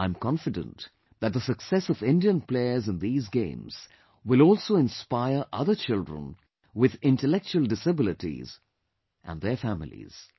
I am confident that the success of Indian players in these games will also inspire other children with intellectual disabilities and their families